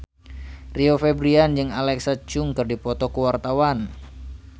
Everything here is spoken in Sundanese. Rio Febrian jeung Alexa Chung keur dipoto ku wartawan